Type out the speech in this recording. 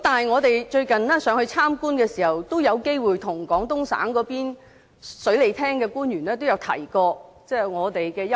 我們最近前往內地參觀的時候，有機會與廣東省水利廳的官員提到我們的憂慮。